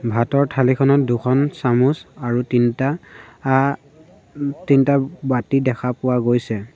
ভাতৰ থালিখনত দুখন চামুচ আৰু তিনটা আ তিনটা বাতি দেখা পোৱা গৈছে।